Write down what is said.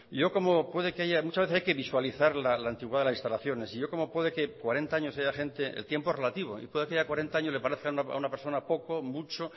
muchas veces hay que visualizar la antigüedad de las instalaciones y yo como puede que cuarenta años haya gente el tiempo es relativo y puede que cuarenta años le parezcan a una persona poco mucho